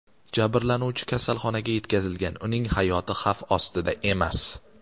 Jabrlanuvchi kasalxonaga yetkazilgan, uning hayoti xavf ostida emas.